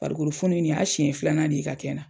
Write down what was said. Barikolofɔni nin y'a siɲɛ filanan de ye ka kɛ na.